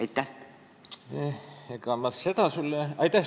Aitäh sulle küsimuse eest!